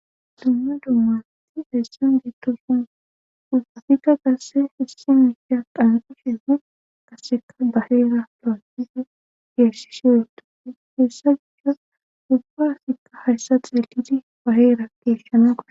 Dumma dummati heessan geettosun usafika qasse issi miisha qandusheefen kaseka baheera plaanfife geershishe uutufe heessa gichas ulfaasikka hayssa xeelidi baheera keshshana koa.